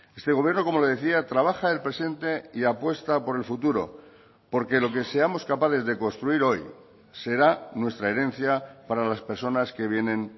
este gobierno como le decía trabaja el presente y apuesta por el futuro porque lo que seamos capaces de construir hoy será nuestra herencia para las personas que vienen